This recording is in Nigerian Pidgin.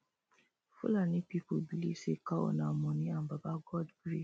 fulani people believe say cow nah money and baba god